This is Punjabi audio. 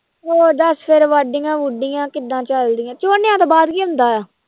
ਹੋਰ ਦੱਸ ਫਿਰ ਵਾਢੀਆਂ ਵੂਢੀਆਂ ਕਿੱਦਾਂ ਚੱਲਦੀਆਂ, ਝੋਨਿਆਂ ਤੋਂ ਬਾਅਦ ਕੀ ਹੁੰਦਾ ਹੈ?